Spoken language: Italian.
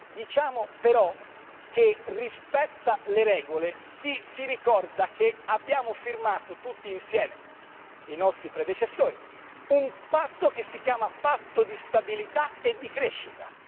Diciamo però che rispetta le regole chi si ricorda che abbiamo firmato tutti insieme, i nostri predecessori, un patto che si chiama Patto di stabilità e di crescita.